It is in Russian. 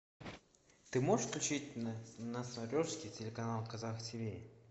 ты можешь включить на смотрешке телеканал казах тв